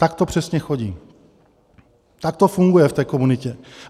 Tak to přesně chodí, tak to funguje v té komunitě.